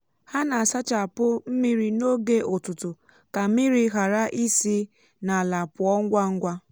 ha na-asachapụ um mmiri n’oge ụtụtụ ka mmiri ghara isi n’ala pụọ ngwa ngwa. um